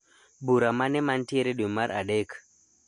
Bura mane mantiere dwe mar adek?